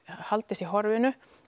haldist í horfinu